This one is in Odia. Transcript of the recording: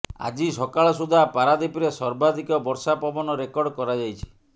ଆଜି ସକାଳ ସୁଦ୍ଧା ପାରାଦୀପରେ ସର୍ବାଧିକ ବର୍ଷା ପବନ ରେକର୍ଡ କରାଯାଇଛି